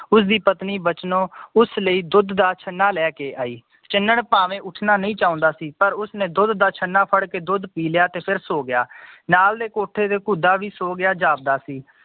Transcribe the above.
ਉਸਦੀ ਪਤਨੀ ਬਚਨੋ ਉਸ ਲਈ ਦੁੱਧ ਦਾ ਛੰਨਾ ਲੈਕੇ ਆਈ ਚੰਨਨ ਭਾਵੇਂ ਉੱਠਣਾ ਨਈ ਚਾਹੁੰਦਾ ਸੀ ਪਰ ਉਸਨੇ ਦੁੱਧ ਦਾ ਛਣਾ ਫੜ ਕੇ ਦੁੱਧ ਪੀ ਲਿਆ ਤੇ ਫਿਰ ਸੋ ਗਯਾ ਨਾਲ ਦੇ ਕੋਠੇ ਤੇ ਕੁਧਾ ਵੀ ਸੋਗਯਾ ਜਾਪਦਾ ਸੀ